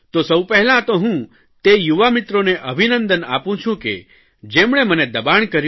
તો સૌ પહેલાં તો હું તે યુવા મિત્રોને અભિનંદન આપું છું કે જેમણે મને દબાણ કર્યું